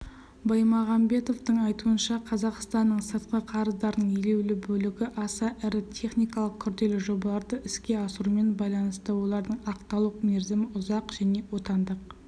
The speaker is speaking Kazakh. баймағамбетовтың айтуынша қазақстанның сыртқы қарыздарының елеулі бөлігі аса ірі техникалық күрделі жобаларды іске асырумен байланысты олардың ақталу мерзімі ұзақ және отандық